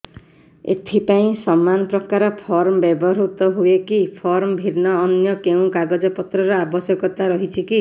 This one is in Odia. ଏଥିପାଇଁ ସମାନପ୍ରକାର ଫର୍ମ ବ୍ୟବହୃତ ହୂଏକି ଫର୍ମ ଭିନ୍ନ ଅନ୍ୟ କେଉଁ କାଗଜପତ୍ରର ଆବଶ୍ୟକତା ରହିଛିକି